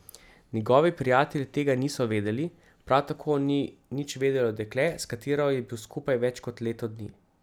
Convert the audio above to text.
Njegovi prijatelji tega niso vedeli, prav tako ni nič vedelo dekle, s katero je bil skupaj več kot leto dni.